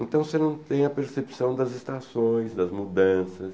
Então você não tem a percepção das estações, das mudanças,